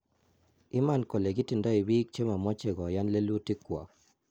iman kole kitindai biik che mamache koyan lelutik kwak